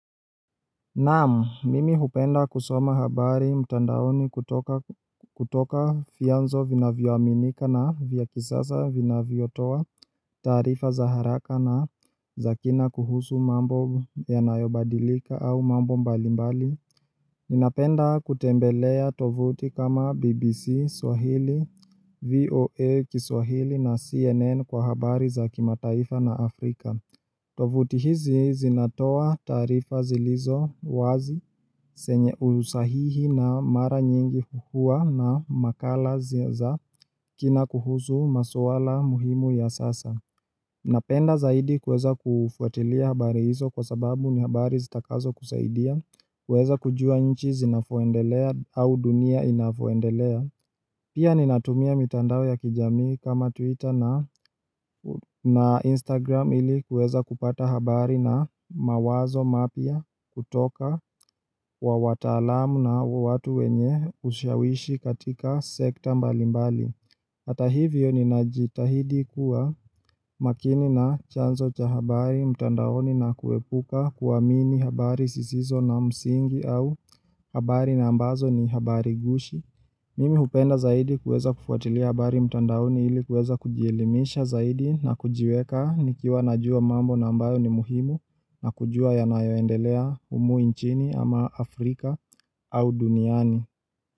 Naam mimi hupenda kusoma habari mtandaoni kutoka vyanzo vina vioaminika na vya kisasa vina vio toa taarifa za haraka na zakina kuhusu mambo yanayobadilika au mambo mbalimbali Ninapenda kutembelea tovuti kama BBC, Swahili, VOA, Swahili na CNN kwa habari za kimataifa na Afrika tovuti hizi zinatoa tarifa zilizo wazi zenye usahihi na mara nyingi huwa na makala ziza kina kuhusu maswala muhimu ya sasa. Napenda zaidi kuweza kufuatilia habari hizo kwa sababu ni habari zitakazo kusaidia, kuweza kujua nchi zinavyoendelea au dunia inavyoendelea. Pia ni natumia mitandao ya kijamii kama Twitter na Instagram ili kueza kupata habari na mawazo mapya kutoka wa wataalamu na wa watu wenye ushawishi katika sekta mbalimbali. Hata hivyo ni najitahidi kuwa makini na chanzo cha habari mtandaoni na kuepuka kuamini habari zisizo na msingi au habari na ambazo ni habari gushi. Mimi hupenda zaidi kuweza kufuatilia bari mtandaoni ili kuweza kujielimisha zaidi na kujiweka nikiwa najua mambo nambayo ni muhimu na kujua yanayoendelea humu nchini ama Afrika au duniani.